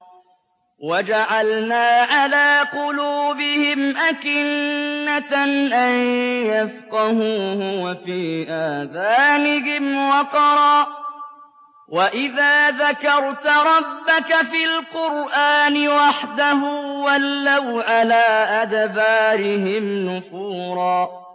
وَجَعَلْنَا عَلَىٰ قُلُوبِهِمْ أَكِنَّةً أَن يَفْقَهُوهُ وَفِي آذَانِهِمْ وَقْرًا ۚ وَإِذَا ذَكَرْتَ رَبَّكَ فِي الْقُرْآنِ وَحْدَهُ وَلَّوْا عَلَىٰ أَدْبَارِهِمْ نُفُورًا